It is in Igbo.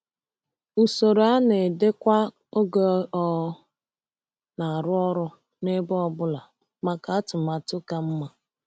Usoro a na-edekwa oge ọ na-arụ ọrụ n’ebe ọ bụla maka atụmatụ ka mma.